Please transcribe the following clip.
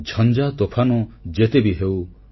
ଝଞ୍ଜା ତୋଫାନ ଯେତେବି ହେଉ